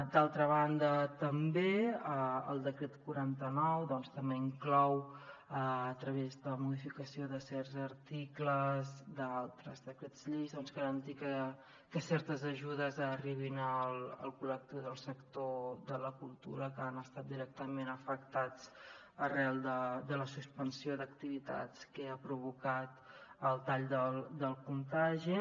d’altra banda també el decret quaranta nou també inclou a través de la modificació de certs articles d’altres decrets lleis doncs garantir que certes ajudes arribin al collectiu del sector de la cultura que ha estat directament afectat arran de la suspensió d’activitats que ha provocat el tall del contagi